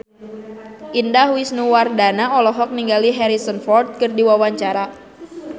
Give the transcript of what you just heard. Indah Wisnuwardana olohok ningali Harrison Ford keur diwawancara